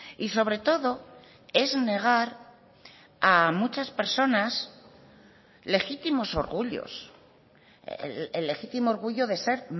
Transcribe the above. y sobre todo es negar a muchas personas legítimos orgullos el legítimo orgullo de ser